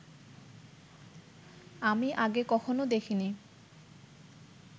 আমি আগে কখনো দেখিনি